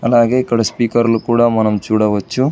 అలాగే ఇక్కడ స్పీకర్లు కూడా మనం చూడవచ్చు.